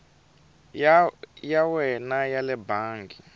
ya wena ya le bangi